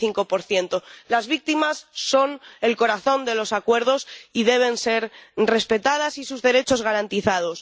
45 Las víctimas son el corazón de los acuerdos y deben ser respetadas, y sus derechos, garantizados.